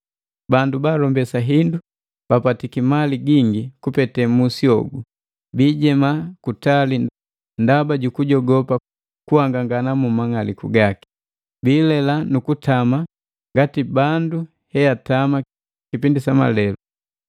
Bandu baalombesa hindu babapatiki mali gingi kupete musi hogu, biijema kutali ndaba jukujogopa kuhangangana mu mang'aliku gaki, biilela nu kutama ngati bandu heatama kipindi sa malelu,